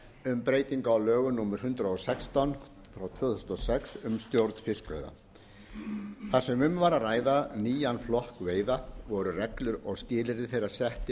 um breytingu á lögum númer hundrað og sextán tvö þúsund og sex um stjórn fiskveiða það sem um var að ræða nýjan flokk veiða voru reglur og skilyrði þeirra sett til eins